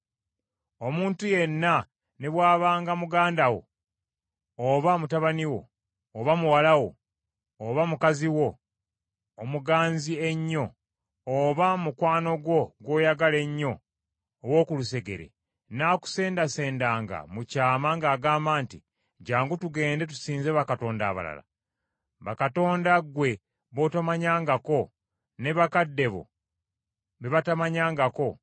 Omuntu yenna, ne bw’abanga muganda wo oba mutabani wo, oba muwala wo, oba mukazi wo omuganzi ennyo, oba mukwano gwo gw’oyagala ennyo ow’okulusegere, n’akusendasendanga mu kyama ng’agamba nti, “Jjangu tugende tusinze bakatonda abalala,” bakatonda ggwe b’otomanyangako, ne bakadde bo be batamanyangako,